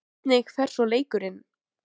Hvernig fer svo leikurinn?